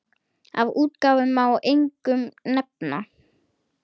Af útgáfum má einkum nefna